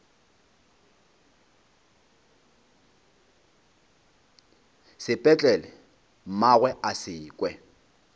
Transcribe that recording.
sepetlele mmagwe a se kwe